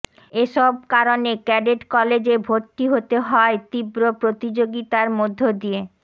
এসব কারণে ক্যাডেট কলেজে ভর্তি হতে হয় তীব্র প্রতিযোগিতার মধ্য দিয়ে